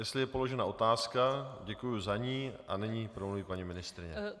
Jestli je položena otázka, děkuji za ní a nyní promluví paní ministryně.